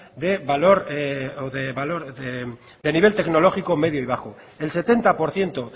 de nivel tecnológico medio y bajo el setenta por ciento